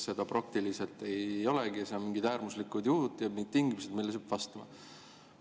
Seda praktiliselt ei olegi, seal on mingid äärmuslikud juhud ja mingid tingimused, millele see peab vastama.